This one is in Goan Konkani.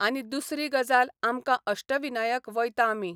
आनी दुसरी गजाल आमकां अष्टविनायक वयता आमी.